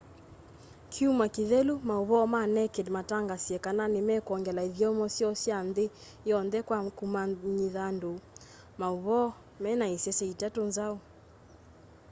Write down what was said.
kyumwa kithelu mauvoo ma naked mataangasie kana nimekwongela ithyomo syoo sya nthi yonthe kwa kumanyithya andu mauvoo mena isese itatu nzau